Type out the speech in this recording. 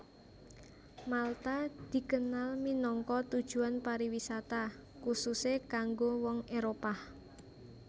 Malta dikenal minangka tujuan pariwisata khususé kanggo wong Éropah